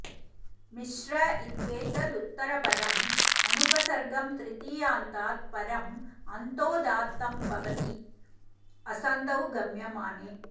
मिश्र इत्येतदुत्तरपदम् अनुपसर्गं तृतीयान्तात् परम् अन्तोदात्तं भवति असन्धौ गम्यमाने